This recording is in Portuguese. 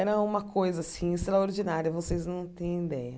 Era uma coisa assim extraordinária, vocês não têm ideia.